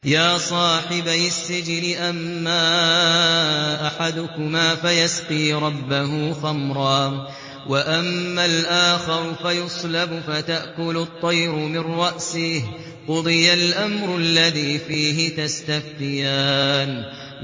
يَا صَاحِبَيِ السِّجْنِ أَمَّا أَحَدُكُمَا فَيَسْقِي رَبَّهُ خَمْرًا ۖ وَأَمَّا الْآخَرُ فَيُصْلَبُ فَتَأْكُلُ الطَّيْرُ مِن رَّأْسِهِ ۚ قُضِيَ الْأَمْرُ الَّذِي فِيهِ تَسْتَفْتِيَانِ